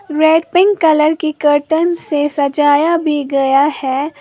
Red pink colour के curtain से सजाया भी गया है।